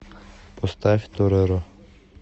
поставь тореро